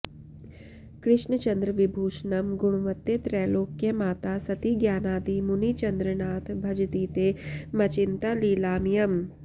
कृष्णचन्द्रविभूषणं गुणवते त्रैल्योक्यमाता सती ज्ञानादि मुनिचन्द्रनाथ भजतीते मचिन्ता लीलामयम्